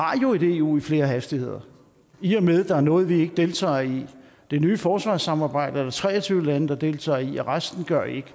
et eu i flere hastigheder i og med at der er noget vi ikke deltager i det nye forsvarssamarbejde er der tre og tyve lande der deltager i og resten gør ikke